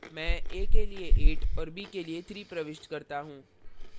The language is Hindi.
मैं a के लिए 8 और b के लिए 3 प्रविष्ट करता हूँ